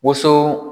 Woso